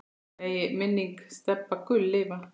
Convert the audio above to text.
Megi minning Stebba Gull lifa.